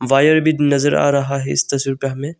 Wire भी नजर आ रहा है इस तस्वीर पे हमें।